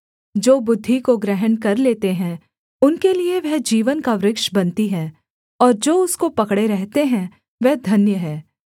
जो बुद्धि को ग्रहण कर लेते हैं उनके लिये वह जीवन का वृक्ष बनती है और जो उसको पकड़े रहते हैं वह धन्य हैं